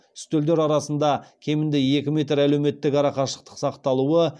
үстелдер арасында кемінде екі метр әлеуметтік арақашықтық сақталуы